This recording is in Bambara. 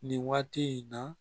Nin waati in na